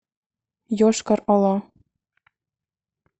йошкар ола